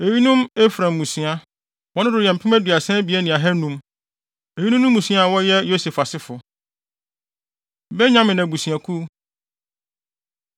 Eyinom Efraim mmusua; wɔn dodow yɛ mpem aduasa abien ne ahannum (32,500). Eyinom ne mmusua a wɔyɛ Yosef asefo. Benyamin Abusuakuw